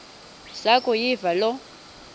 zaku yiva loo